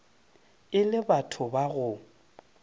e le batho ba go